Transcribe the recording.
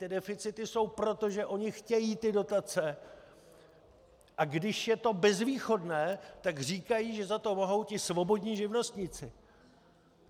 Ty deficity jsou proto, že oni chtějí ty dotace, a když je to bezvýchodné, tak říkají, že za to mohou ti svobodní živnostníci.